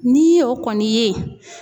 N'i y'o kɔni ye